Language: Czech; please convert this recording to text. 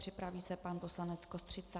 Připraví se pan poslanec Kostřica.